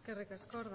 eskerrik asko